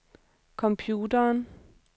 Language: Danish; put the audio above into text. computeren